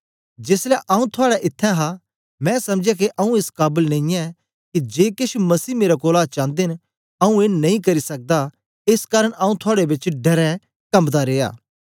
जेसलै आऊँ थुआड़े इत्त्थैं हा मैं समझया के आऊँ एस काबल नेईयैं के जे केछ मसीह मेरे कोलां चांदे न आऊँ ए नेई करी सकदा एस कारन आऊँ थुआड़े बेच डरें कम्बदा रिया